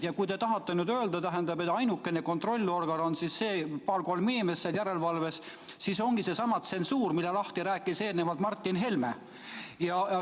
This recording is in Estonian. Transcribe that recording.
Ja kui te tahate nüüd öelda, et ainukene kontrollorgan on need paar-kolm inimest seal järelevalves, siis see ongi seesama tsensuur, mille rääkis eelnevalt lahti Martin Helme.